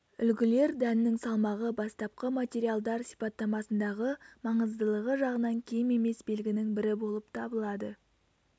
үлгілер дәннің салмағы бастапқы материалдар сипаттамасындағы маңыздылығы жағынан кем емес белгінің бірі болып табылады